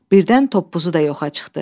Birdən toppuzu da yoxa çıxdı.